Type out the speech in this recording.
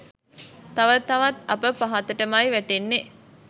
තව තවත් අප පහතටමයි වැටෙන්නේ.